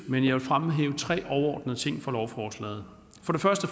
men jeg vil fremhæve tre overordnede ting fra lovforslaget